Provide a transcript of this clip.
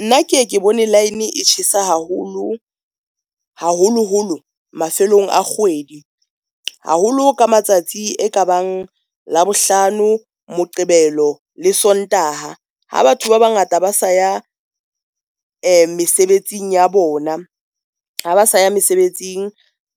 Nna ke ke bone line e tjhesa haholo haholoholo mafelong a kgwedi haholo ka matsatsi e ka bang Labohlano, Moqebelo le Sontaha. Ha batho ba bangata ba sa ya mesebetsing ya bona, ha ba sa ya mesebetsing,